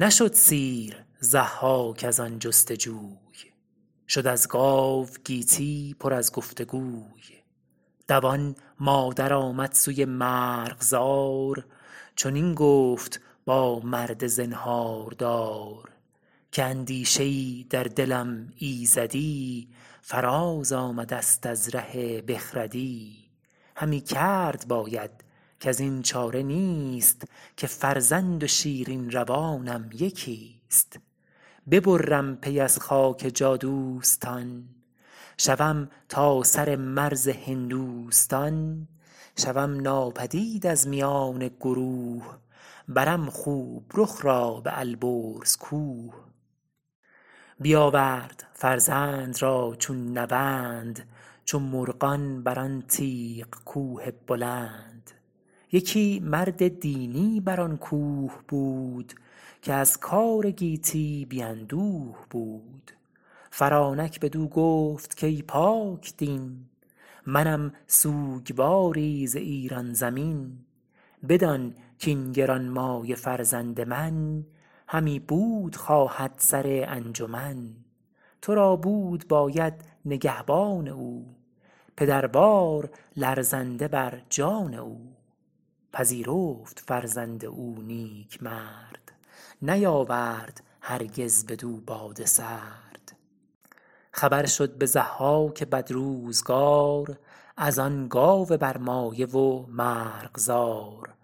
نشد سیر ضحاک از آن جست جوی شد از گاو گیتی پر از گفت گوی دوان مادر آمد سوی مرغزار چنین گفت با مرد زنهاردار که اندیشه ای در دلم ایزدی فراز آمده ست از ره بخردی همی کرد باید کزین چاره نیست که فرزند و شیرین روانم یکیست ببرم پی از خاک جادوستان شوم تا سر مرز هندوستان شوم ناپدید از میان گروه برم خوب رخ را به البرز کوه بیاورد فرزند را چون نوند چو مرغان بر آن تیغ کوه بلند یکی مرد دینی بر آن کوه بود که از کار گیتی بی اندوه بود فرانک بدو گفت کای پاکدین منم سوگواری ز ایران زمین بدان کاین گرانمایه فرزند من همی بود خواهد سر انجمن تو را بود باید نگهبان او پدروار لرزنده بر جان او پذیرفت فرزند او نیکمرد نیاورد هرگز بدو باد سرد خبر شد به ضحاک بدروزگار از آن گاو برمایه و مرغزار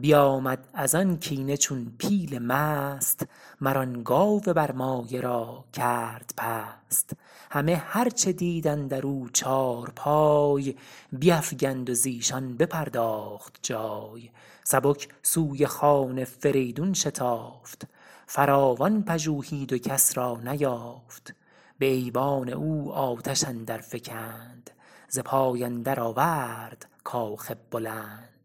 بیامد از آن کینه چون پیل مست مر آن گاو برمایه را کرد پست همه هر چه دید اندر او چارپای بیفگند و زیشان بپرداخت جای سبک سوی خان فریدون شتافت فراوان پژوهید و کس را نیافت به ایوان او آتش اندر فگند ز پای اندر آورد کاخ بلند